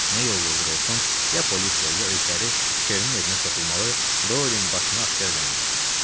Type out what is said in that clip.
Nə yolla olursa olsun, ya polislə, ya özləri Kernin evinə soxulmalı, Doylin başını aşkar eləməliydilər.